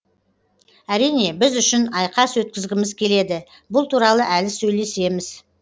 әрине біз үшін айқас өткізгіміз келеді бұл туралы әлі сөйлесеміз